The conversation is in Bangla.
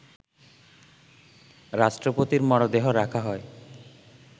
রাষ্ট্রপতির মরদেহ রাখা হয়